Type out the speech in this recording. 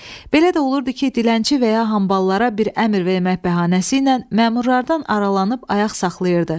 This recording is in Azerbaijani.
Belə də olurdu ki, dilənçi və ya hamballara bir əmr vermək bəhanəsiylə məmurlardan aralanıb ayaq saxlayırdı.